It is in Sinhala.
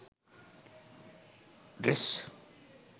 dress